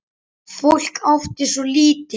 Fólk átti svo lítið.